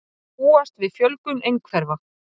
Búast við fjölgun einhverfra